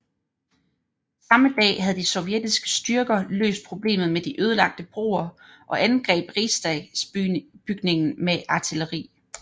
Samme dag havde de sovjetiske styrker løst problemet med de ødelagte broer og angreb Rigsdagsbygningen med artilleri